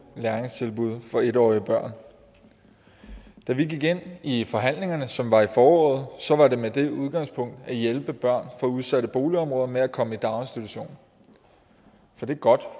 læringstilbud for en årige børn da vi gik ind i i forhandlingerne som var i foråret så var det med det udgangspunkt at hjælpe børn fra udsatte boligområder med at komme i daginstitution for det er godt